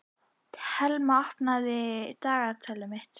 Thelma, opnaðu dagatalið mitt.